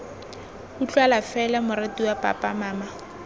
utlwala fela moratiwa papa mama